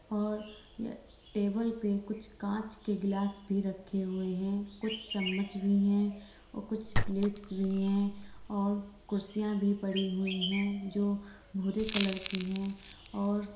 और टेबल पे कुछ कांच के गिलास भी रखे हुए हैं कुछ चम्मच भी हैं और कुछ प्लेट्स भी हैं और कुर्सियां भी पड़ी हुई हैं जो भूरे कलर की है और--